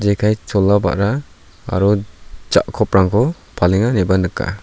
jekai chola ba·ra aro ja·koprangko palenga ineba nika.